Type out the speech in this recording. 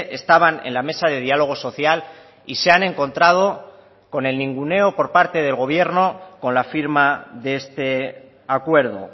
estaban en la mesa de diálogo social y se han encontrado con el ninguneo por parte del gobierno con la firma de este acuerdo